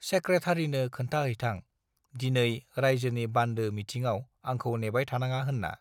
सेक्रेथारिनो खोन्था हैथां दिनै रायजोनि बान्दो मिथिङाव आंखौ नेबाय थानाङा होन्ना